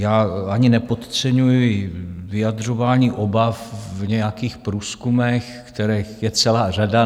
Já ani nepodceňuji vyjadřování obav v nějakých průzkumech, kterých je celá řada.